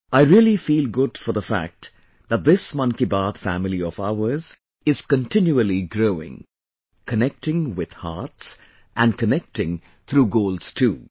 I really feel good for the fact that this Mann Ki Baat family of ours is continually growing...connecting with hearts and connecting through goals too